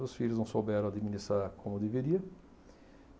Os filhos não souberam administrar como deveria.